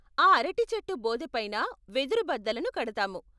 ఆ అరటి చెట్టు బోదెపైన వెదురు బద్దలను కడతాము.